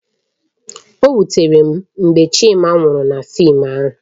O wutere m mgbe Chima nwụrụ na fịịm ahụ